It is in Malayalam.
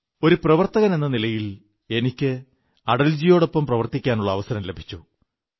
ഒരു പ്രവർത്തകനെന്ന നിലയിൽ എനിക്ക് അടൽജിയോടൊപ്പം പ്രവർത്തിക്കാനുള്ള അവസരം ലഭിച്ചു